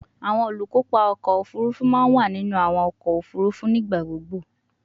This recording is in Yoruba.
Awọn olukopa ọkọ ofurufu ma wa ninu awọn ọkọ ofurufu nigbagbogbo